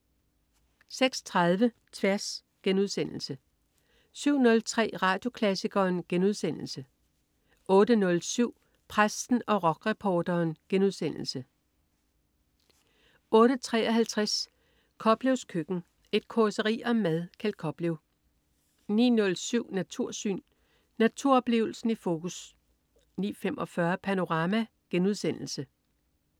06.30 Tværs* 07.03 Radioklassikeren* 08.07 Præsten og rockreporteren* 08.53 Koplevs køkken. Et causeri om mad. Kjeld Koplev 09.07 Natursyn. Naturoplevelsen i fokus 09.45 Panorama*